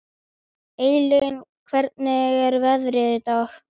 Eylín, hvernig er veðrið í dag?